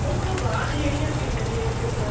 ਉਸ ਤੋਂ ਬਾਅਦ ਜਿਹੜੀਆਂ ਪਿੰਡ ਦੀਆਂ ਕੁੜੀਆਂ